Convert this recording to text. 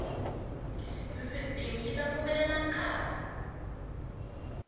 sisitimi yi ta pfumelela nkari